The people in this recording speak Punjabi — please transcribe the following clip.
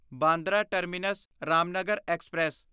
Bandra terminus Ramnagar express